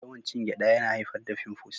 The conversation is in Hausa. Yawan cin gyada yana haifar da fimfus.